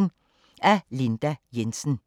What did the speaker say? Af Linda Jensen